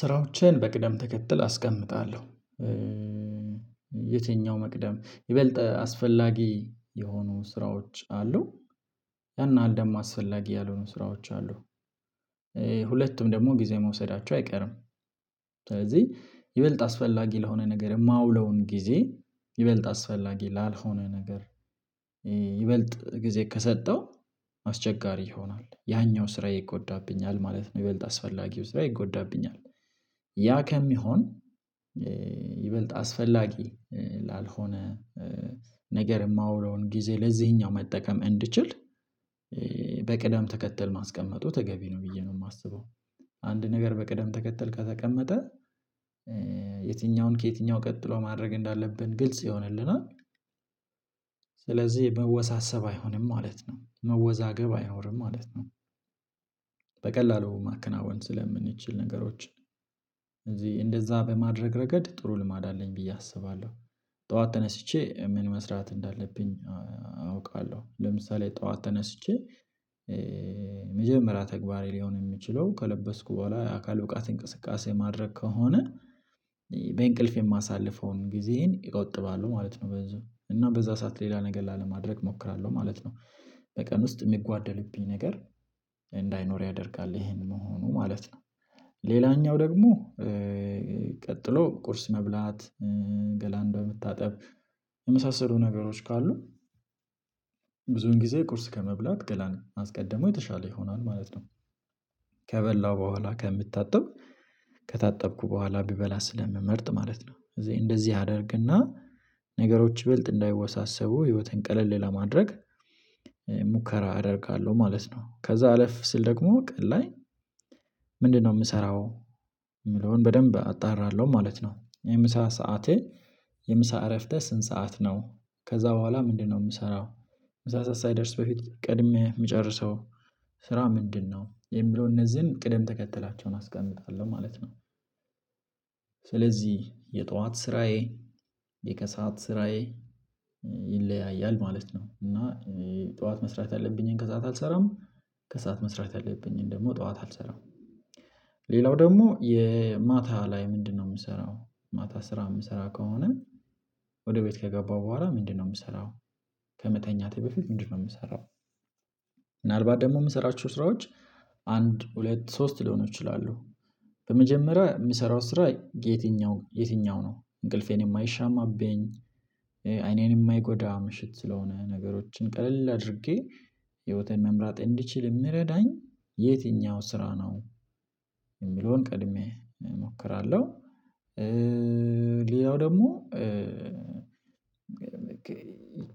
ስራዎቼን በቅደም ተከትል አስቀምጣለሁ። የትኛው መቅደም፤ ይበልጥ አስፈላጊ የሆኑ ስራዎች አሉ፤ ያን ያህል ደም አስፈላጊ ያልሆኑ ስራዎች አሉ። ሁለቱም ደግሞ ጊዜ መውሰዳቸው አይቀርም። ስለዚህ ይበልጥ አስፈላጊ ለሆነ ነገር የማውለውን ጊዜ፤ ይበልጥ አስፈላጊ ላልሆነ ነገር ይበልጥ ጊዜ ከሰጠሁ አስቸጋሪ ይሆናል። ያኛው ስራዬ ይጎዳብኛል ማለት ነው፤ ይበልጥ አስፈላጊው ስራዬ ይጎዳብኛል። ያ ከሚሆን ይበልጥ አስፈላጊ ላልሆነ ነገር የማውለውን ጊዜ ለዚህኛው መጠቀም እንድችል፤ በቅደም ተከተል ማስቀመጡ ተገቢ ነው ብዬ ነው የማስበው። አንድ ነገር በቅደም ተከተል ከተቀመጠ፤ የትኛውን ከየትኛው ቀጥሎ ማድረግ እንዳለብን ግልጽ ይሆንልናል። ስለዚህ መወሳሰብ አይሆንም ማለት ነው፤ መወዛገብ አይኖርም ማለት ነው። በቀላሉ ማከናወን ስለምንችል ነገሮችን፤ እዚህ እንደዛ በማድረግ ረገድ ጥሩ ልማድ አለኝ ብዬ አስባለሁ። ጠዋት ተነስቼ ምን መስራት እንዳለብኝ አውቃለሁ። ለምሳሌ ጠዋት ተነስቼ የመጀመሪያ ተግባር ሊሆን የሚችለው ከለበስኩ በኋላ የአካል ብቃት እንቅስቃሴ ማድረግ ከሆነ፤ በእንቅልፍ የማሳልፈውን ጊዜዬን እቆጥባለው ማለት ነው ብዙ፤ እና በዛ ሰዓት ሌላ ነገር ላለማድረግ እሞክራለሁ ማለት ነው። በቀን ውስጥ የሚጓደለብኝ ነገር እንዳይኖር ያደርጋል ይሄን መሆኑ ማለት ነው። ሌላኛው ደግሞ፤ ቀጥሎ ቁርስ መብላት፣ ገላን በመታጠብ፣ የመሳሰሉ ነገሮች ካሉ ብዙን ጊዜ ቁርስ ከመብላት ገላን ማስቀደሙ የተሻለ ይሆናል ማለት ነው። ከበላሁ በኋላ ከምታጠብ፤ ከታጠብኩ በኋላ ብበላ ስለምመርጥ ማለት ነው። ስለዚህ እንደዚህ አደርግና ነገሮች ይበልጥ እንዳይወሳሰቡ ህይወትን ቀለል ለማድረግ፤ ሙከራ አደርጋለሁ ማለት ነው። ከዛ አለፍ ስል ደግሞ ቀን ላይ፤ ምንድነው የምሰራው የሚለውን በደንብ አጣራለሁ ማለት ነው። የምሳ ሰዓቴ የምሳ እረፍቴ ስንት ሰዓት ነው? ከዛ በኋላ ምንድነው የምሰራው፤ ምሳ ሰዓት ሳይደርስ በፊት ቀድሜ የምጨርሰው ስራ ምንድነው፤ የሚለውን እነዚህን ቅደም ተከትላቸውን አስቀምጣለሁ ማለት ነው። ስለዚህ የጠዋት ስራዬ፣ የከሰአት ስራዬ፣ ይለያያል ማለት ነው። እና ጠዋት መስራት ያለብኝን ከሰአት አልሰራም፤ ከሰአት መስራት ያለብኝን ደግሞ ጠዋት አልሰራም። ሌላው ደግሞ የ ማታ ላይ ምንድነው የምሰራው? ማታ ስራ የምሰራ ከሆነ፤ ወደ ቤት ከገባው በኋላ ምንድነው የምሰራው? ከመተኛቴ በፊት ምንድነው የምሰራው? ምናልባት ደግሞ የምሰራችሁ ስራዎች አንድ፣ ሁለት፣ ሶስት ሊሆኑ ይችላሉ በመጀመሪያ የምሰራው ስራ የትኛው የትኛው ነው? እንቅልፌን የማይሻማብኝ፣ አይኔን የማይጎዳ፣ ምሽት ስለሆነ ነገሮችን ቀለል አድርጌ ህይወትን መምራት እንድችል የምረዳኝ፤ የትኛው ስራ ነው? የሚለውን ቀድሜ እሞክራለሁ። ሌላው ደግሞ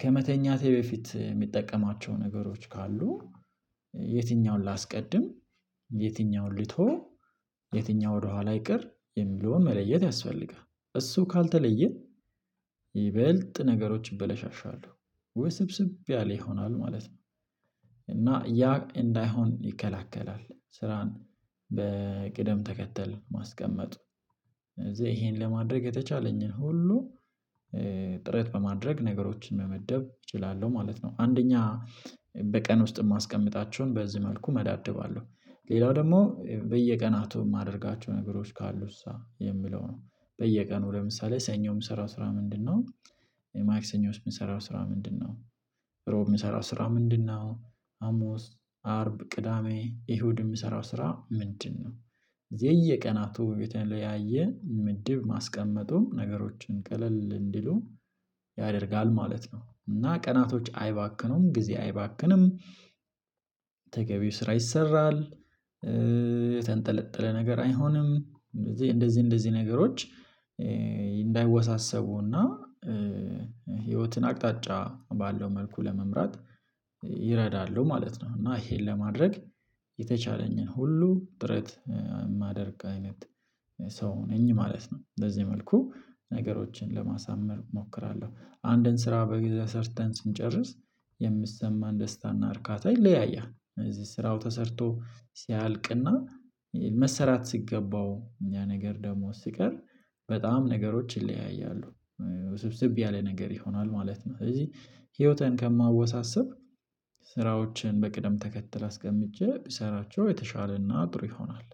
ከመተኛቴ በፊት የምጠቀማቸው ነገሮች ካሉ፤ የትኛውን ላስቀድም? የትኛውን ልተው? የትኛው ወደኋላ ይቅር? የሚለውን መለየት ያስፈልጋል። እሱ ካልተለየ ይበልጥ ነገሮች ይበላሻሻሉ፤ ውስብስብ ያለ ይሆናል ማለት ነው። እና ያ እንዳይሆን ይከላከላል ስራን በቅደም ተከተል ማስቀመጥ፤ ስለዚህ ይሄን ለማድረግ የተቻለኝን ሁሉ ጥረት በማድረግ ነገሮችን መመደብ እችላለሁ ማለት ነው። አንደኛ በቀን ውስጥ የማስቀምጣቸውን በዚህ መልኩ መዳድባለው። ሌላው ደግሞ በየቀናቱ የማደርጋቸው ነገሮች ካሉሳ የሚለው ነው፤ በየቀኑ ለምሳሌ ሰኞ የምሰራው ስራ ምንድነው? ማክሰኞስ የምሰራው ስራ ምንድነው? እሮብ የምሰራው ስራ ምንድነው? ሀሙስ፣ አርብ፣ ቅዳሜ፣ እሁድ የምሰራው ስራ ምንድነው? የየቀናቱ በተለያየ ምድብ ማስቀመጡ ነገሮችን ቀለል እንዲሉ ያደርጋል ማለት ነው። እና ቀናቶች አይባክኑም፣ ጊዜ አይባክንም፣ ተገቢው ስራ ይሰራል፤ የተንጠለጠለ ነገር አይሆንም፤ ስለዚህ እንደዚህ እንደዚህ ነገሮች እንዳይወሳሰቡና ህይወትን አቅጣጫ ባለው መልኩ ለመምራት ይረዳሉ ማለት ነው፤ እና ይሄን ለማድረግ የተቻለኝን ሁሉ ጥረት የማደርግ አይነት ሰው ነኝ ማለት ነው። በዚህ መልኩ ነገሮችን ለማሳመር እሞክራለሁ። አንድን ስራ በጊዜው ሰርተን ስንጨርስ፤ የሚሰማን ደስታና እርካታ ይለያያል። ስለዚህ ስራው ተሰርቶ ሲያልቅና መሰራት ሲገባው ያ ነገር ደግሞ ሲቀር በጣም ነገሮች ይለያያሉ፤ ስብስብ ያለ ነገር ይሆናል ማለት ነው። ስለዚህ ህይወትን ከማወሳስብ ስራዎችን በቅደም ተከትል አስቀምጬ ብሰራቸው የተሻለና ጥሩ ይሆናል።